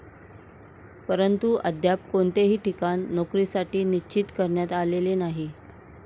परंतु अद्याप कोणतेही ठिकाण नोकरीसाठी निश्चित करण्यात आलेले नाही.